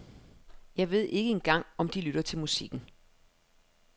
Jeg ved ikke engang om de lytter til musikken.